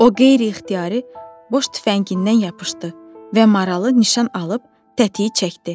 O, qeyri-ixtiyari boş tüfəngindən yapışdı və maralı nişan alıb tətiyi çəkdi.